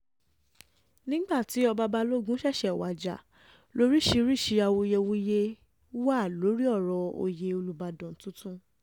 nígbà tí ọba balógun um ṣẹ̀ṣẹ̀ wájà lóríṣìíríṣìí awuyewuye um wà lórí ọ̀rọ̀ oyè olùbàdàn tuntun